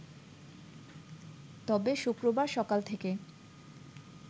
তবে শুক্রবার সকাল থেকে